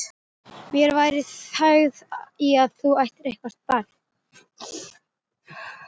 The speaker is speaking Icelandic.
Mér væri þægð í að þú ættir eitthvert barn.